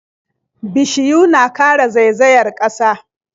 Bishiyu na kare zaizayar ƙasa.